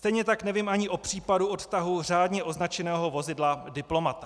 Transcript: Stejně tak nevím ani o případu odtahu řádně označeného vozidla diplomata.